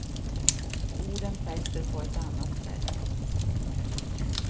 Orden fäster på ett annat sätt.